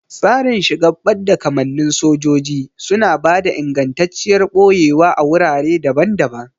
Tsarin shigar badda kamannin sojoji suna ba da ingantacciyar ɓoyewa a wurare daban-daban.